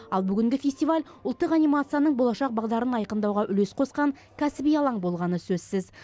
ал бүгінгі фестиваль ұлттық анимацияның болашақ бағдарын айқындауға үлес қосқан кәсіби алаң болғаны сөзсіз